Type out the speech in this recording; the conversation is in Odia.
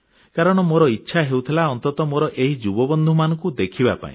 କାରଣ ମୋର ଇଚ୍ଛା ହେଉଥିଲା ଅନ୍ତତଃ ମୋର ଏହି ଯୁବ ବନ୍ଧୁମାନଙ୍କୁ ଦେଖିବା ପାଇଁ